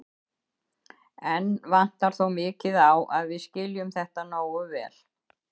Enn vantar þó mikið á að við skiljum þetta nógu vel.